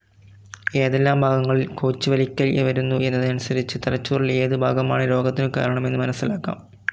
ഏതെല്ലാം ഭാഗങ്ങളിൽ കോച്ചിവലിക്കൽ വരുന്നു എന്നതനുസരിച്ച് തലച്ചോറിലെ ഏതു ഭാഗമാണ് രോഗത്തിനു കാരണം എന്നു മനസ്സിലാക്കാം.